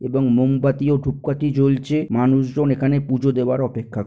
এবং মোমবাতি ও ধূপকাঠি জ্বলছে মানুষজন এখানে পুজো দেবার অপেক্ষা --